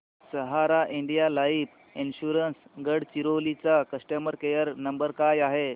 सहारा India life insurance Gadchiroli चा customer care number काय आहे